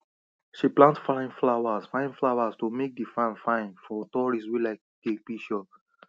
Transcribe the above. she plant fine flowers fine flowers to make the farm fine for tourists wey like take picture